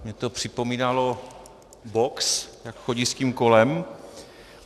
Mně to připomínalo box, jak chodí s tím kolem .